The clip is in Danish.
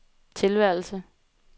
tilværelse